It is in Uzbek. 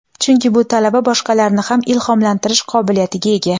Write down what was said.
chunki bu talaba boshqalarni ham ilhomlantirish qobiliyatiga ega.